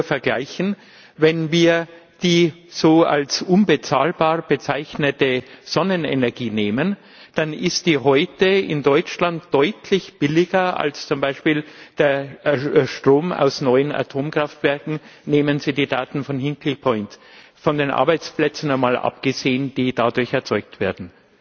Ich darf nur vergleichen Wenn wir die als unbezahlbar bezeichnete Sonnenenergie nehmen, dann ist die heute in Deutschland deutlich billiger als zum Beispiel der Strom aus neuen Atomkraftwerken nehmen Sie die Daten von Hinkley Point von den Arbeitsplätzen einmal abgesehen, die dadurch erzeugt werden.